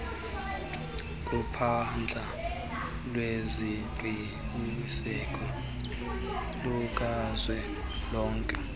kuphahla lweziqinisekiso lukazwelonke